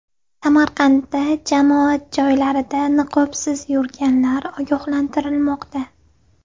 Samarqandda jamoat joylarida niqobsiz yurganlar ogohlantirilmoqda.